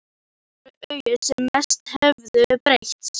En það voru augun sem mest höfðu breyst.